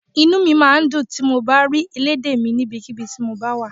Inú mi máa ń dùn tí mo bá ń rí elédè mi níbikíbi tí mo bá wà